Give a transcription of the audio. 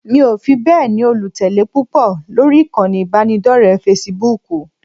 Mi ò fi bẹ́ẹ̀ ni olùtẹ̀lé púpọ̀ lórí ìkànnì ìbánidọ́rẹ̀ẹ́ Facebook